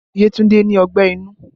Yetunde ní ọgbẹ́ inú